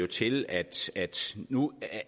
til at nu